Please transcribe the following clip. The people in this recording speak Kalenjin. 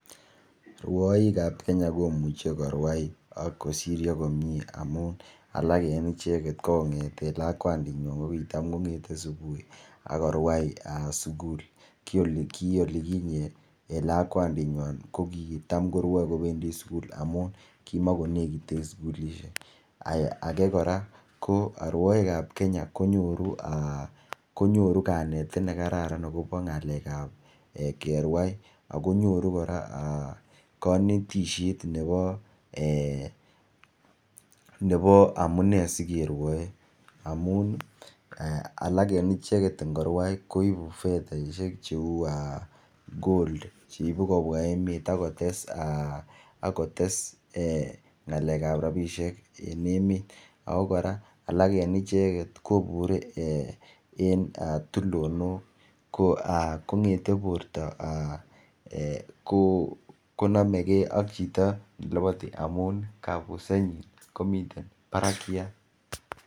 Rwoik ab Kenya komuche korwai ak kosiryo komie amun alak en icheket ko kong'eten lakwandit nywan ko kitam kong'ete subui akorwai sugul kiolikinyet en lakwandit nywan ko kitam korwoe kobendii sugul amun kimokonekiten sugulisiek age kora ko rwoik ab Kenya konyoru um kanetet nekararan akobo ng'alek ab kerwai akonyoru kora um konetisiet nebo nebo amunee sikerwoe amun ih alak en icheket ngorwai koibu fethaisiek cheu gold cheibu kobwa emet ak kotes ng'alek ab rapisiek en emet ako kora icheket kobure um en tulonok kong'ete borto um konomegee ak chito neloboti amun kabusenyin komiten barakiat